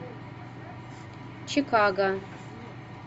чикого